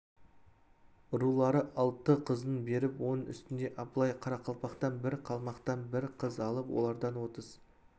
рулары алты қызын беріп оның үстіне абылай қарақалпақтан бір қалмақтан бір қыз алып олардан отыз